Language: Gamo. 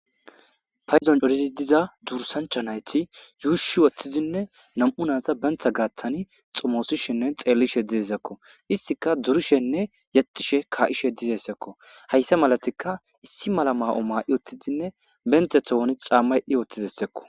fayzon dorizi diza dursancha nayti yuushi wothtizinne nam7u naasa bentha gaaththani xomoosishenne xeellishe didizakko istika durishenne yatishe ka7ishe dizessekko hayssa malatika issi mala ma7o maa7i wotthizinne benthe tooni xamma yedhdhi woththidessekko